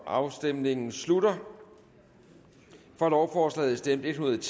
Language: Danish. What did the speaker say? afstemningen slutter for lovforslaget stemte en hundrede og